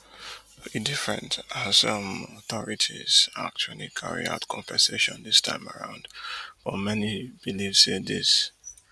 e different as um authorities actually carry out compensation dis time around but many believe say dis